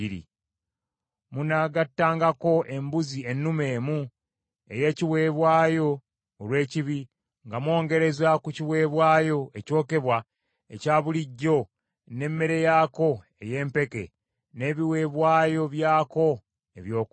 Munaagattangako embuzi ennume emu ey’ekiweebwayo olw’ekibi, nga mwongereza ku kiweebwayo ekyokebwa ekya bulijjo n’emmere yaako ey’empeke, n’ebiweebwayo byako ebyokunywa.